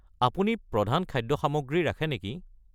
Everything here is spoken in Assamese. আপুনি প্ৰধান খাদ্য সামগ্ৰী ৰাখে নেকি?